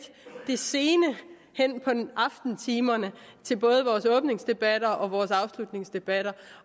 hen på aftentimerne i både vores åbningsdebatter og afslutningsdebatter